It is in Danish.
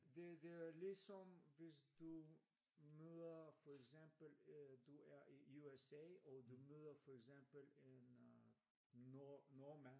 Det det er ligesom hvis du møder for eksempel øh du er i i USA og du møder for eksempel en øh nord nordmand